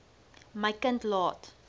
my kind laat